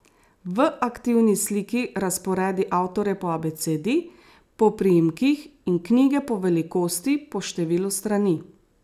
V aktivni sliki razporedi avtorje po abecedi, po priimkih in knjige po velikosti, po številu strani.